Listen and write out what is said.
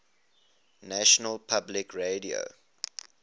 national public radio